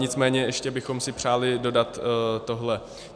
Nicméně ještě bychom si přáli dodat tohle.